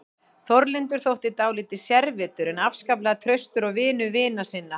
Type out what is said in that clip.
Þórlindur þótti dálítið sérvitur en afskaplega traustur og vinur vina sinna.